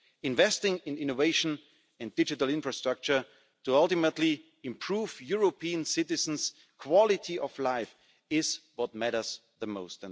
reforms. Investing in innovation and digital infrastructure to ultimately improve European citizens' quality of life is what matters